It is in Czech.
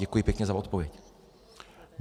Děkuji pěkně za odpověď.